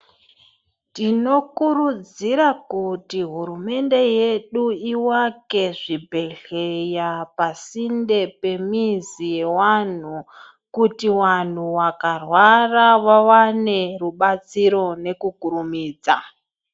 Tinokurudzira kuti humende yedu ivake zvibhedhlera pasindepemizi yevantu kuti vantu vakarwara vawane rubatsiro nekukurumidza.